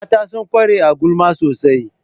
Mata sun ƙware a gulma sosai